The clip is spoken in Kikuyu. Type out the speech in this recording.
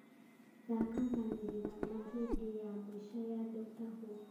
thaaka maanĩrira ma rĩndiũ ya mũico ya doctor who